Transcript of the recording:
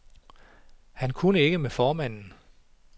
Han kunne ikke med formanden.